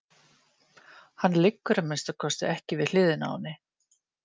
Hann liggur að minnsta kosti ekki við hliðina á henni.